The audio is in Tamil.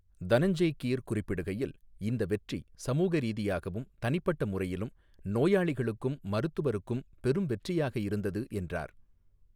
தனஞ்செய் கீர் குறிப்பிடுகையில், 'இந்த வெற்றி சமூக ரீதியாகவும், தனிப்பட்ட முறையிலும், நோயாளிகளுக்கும், மருத்துவருக்கும் பெரும் வெற்றியாக இருந்தது' என்றார்.